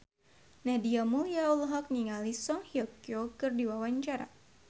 Nadia Mulya olohok ningali Song Hye Kyo keur diwawancara